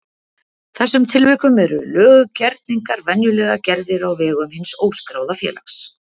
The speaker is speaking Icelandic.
þessum tilvikum eru löggerningar venjulega gerðir á vegum hins óskráða félags.